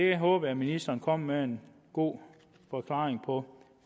jeg håber ministeren kommer med en god forklaring på